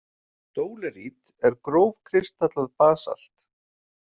Dólerít er grófkristallað basalt.